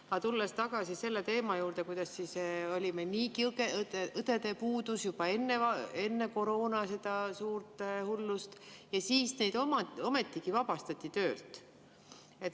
Aga tulen tagasi selle teema juurde, et niigi oli õdede puudus juba enne seda suurt koroonahullust, aga siis neid ometigi vabastati töölt.